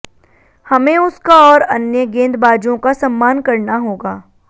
हमें उसका और अन्य गेंदबाजों का सम्मान करना होगा